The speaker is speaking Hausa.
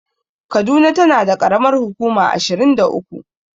Kaduna tana da ƙaramar hukuma ashirin da uku.